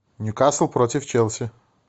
ньюкасл против челси